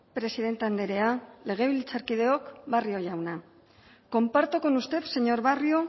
presidente andrea legebiltzarkideok barrio jauna comparto con usted señor barrio